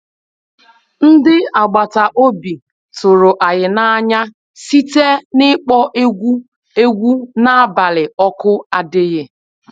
Ndị agbata obi tụrụ anyị n'anya site n'ịkpọ egwu egwu n'abalị oku adighi